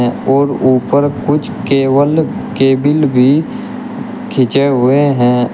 और ऊपर कुछ केवल केबिल भी खींचे हुए हैं।